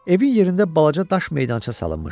Evin yerində balaca daş meydança salınmışdı.